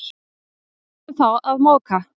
Og byrjuðum þá að moka.